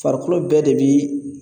Farikolo bɛɛ de bi